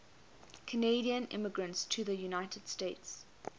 canadian immigrants to the united states